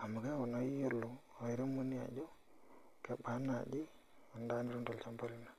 amu keeku naa iyiolo ajo kebaa naaji endaa nitum tolchamba lino.